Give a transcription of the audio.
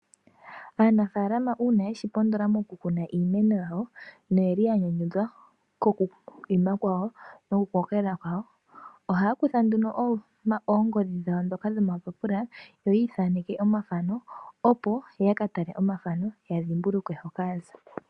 Aanafaalama uuna yeshi pondola moku kuna iimeno yawo, no yeli ya nyanyudhwa koku ima kwawo, noku koka kwawo, ohaya kutha nduno oongodhi dhawo ndhoka dho mapapula opo yi ithaneke omathano, opo yaka tale omathano, ya dhimbulukwe hoka yaza.